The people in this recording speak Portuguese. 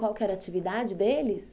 Qual que era a atividade deles?